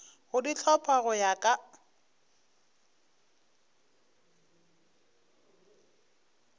go di hlopha go ya